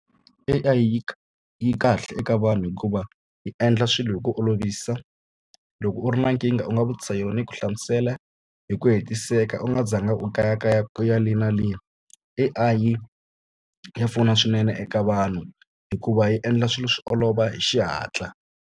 A_I yi yi kahle eka vanhu hikuva yi endla swilo hi ku olovisa loko u ri na nkingha u nga vutisa yona yi ku hlamusela hi ku hetiseka u nga zanga u kayakaya ku ya le na le A_I ya pfuna swinene eka vanhu hikuva yi endla swilo swi olova hi xihatla.